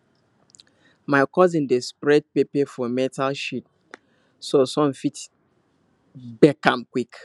my cousin dey spread pepper for metal sheet so sun fit bake am quick